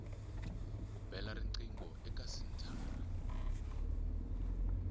u bela riqingho eka senthara